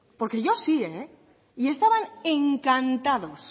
porque yo sí y estaban encantados